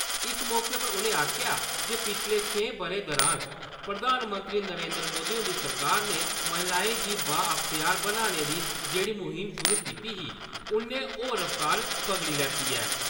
इस मौके पर उ'नें आखेआ जे पिच्छले छें ब’रें दुरान प्रधानमंत्री नरेन्द्र मोदी हुंदी सरकार ने महिलाएं गी बा-अख्तियार बनाने दी जेह्ड़ी मुहिम शुरू कीती ही उन्नै होर रफ्तार फगड़ी लैती ऐ।